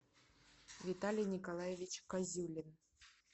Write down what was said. виталий николаевич козюлин